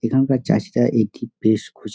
এখানকার চাষীরা একটি পেশ খুজ--